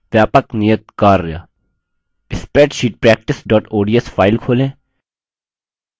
व्यापक नियत कार्य